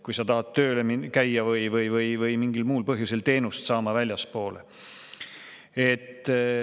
Kui sa tahad väljaspool tööl käia või mingil muul põhjusel seal teenust saada,.